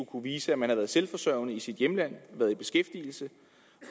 kunne vise at man er selvforsørgende i sit hjemland og i beskæftigelse